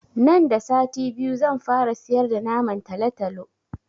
Nan da sati biyu zan fara siyar da naman talatalo